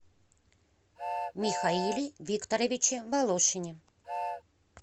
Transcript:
михаиле викторовиче волошине